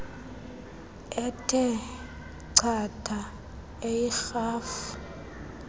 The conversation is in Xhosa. ethe chatha eyirhafu